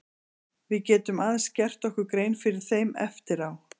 Við getum aðeins gert okkur grein fyrir þeim eftir á.